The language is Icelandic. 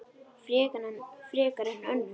Frekar en önnur.